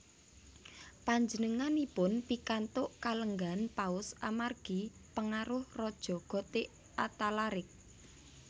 Panjenenganipun pikantuk kalenggahan Paus amargi pangaruh Raja Gotik Athalaric